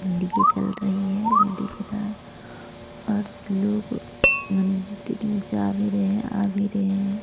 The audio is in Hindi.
जल रही है वो दिख रहा है और लोग मंदिर में जा भी रहे है आ भी रहे है।